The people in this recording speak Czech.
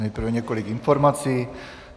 Nejprve několik informací.